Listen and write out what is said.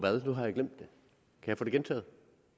kan jeg få det gentaget